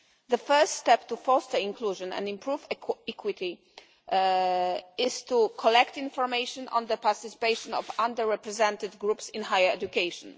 The first step to foster inclusion and improve equity is to collect information on the participation of under represented groups in higher education.